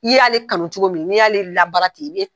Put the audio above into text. I y'ale kanu cogo min, n'i y'ale labaara ten